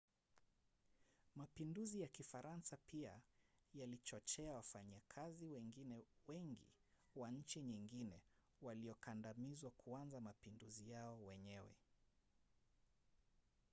mapinduzi ya kifaransa pia yalichochea wafanyakazi wengine wengi wa nchi nyingine waliokandamizwa kuanza mapinduzi yao wenyewe